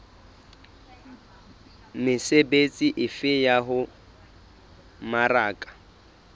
mesebetsi efe ya ho mmaraka